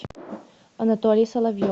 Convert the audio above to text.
анатолий соловьев